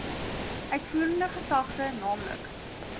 uitvoerende gesagte nl